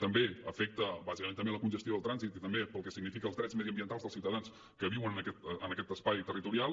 també afecta bàsicament a la congestió del trànsit i també pel que signifiquen els drets mediambientals dels ciutadans que viuen en aquest espai territorial